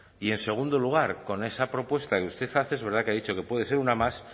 y en segundo lugar con esa propuesta que usted hace es verdad que ha dicho que puede ser una más